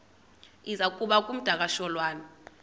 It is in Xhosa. iza kuba ngumdakasholwana